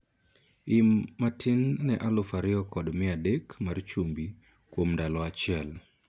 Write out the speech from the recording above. Im matin ne alufu ariyo kod mia adek mar chumbi kuom ndalo achiel